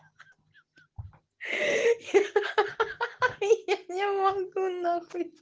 ха-ха-ха-ха я не могу нахуй